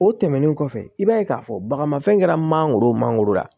O tɛmɛnen kɔfɛ i b'a ye k'a fɔ bagamafɛn kɛra mangoro wo mangoro la